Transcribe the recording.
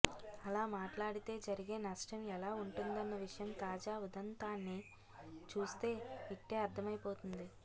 అలా మాట్లాడితే జరిగే నష్టం ఎలా ఉంటుందన్న విషయం తాజా ఉదంతాన్ని చూస్తే ఇట్టే అర్థమైపోతుంది